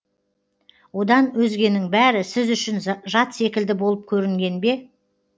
одан өзгенің бәрі сіз үшін жат секілді болып көрінген бе